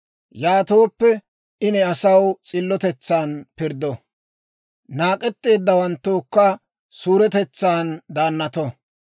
Yaatooppe, I ne asaw s'illotetsan pirddo; naak'etteeddawanttookka suuretetsaan daannato.